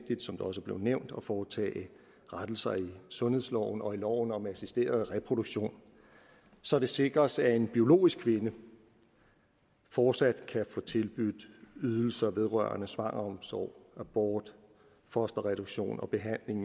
også er blevet nævnt at foretage rettelser i sundhedsloven og i loven om assisteret reproduktion så det sikres at en biologisk kvinde fortsat kan få tilbudt ydelser vedrørende svangreomsorg abort fosterreduktion og behandling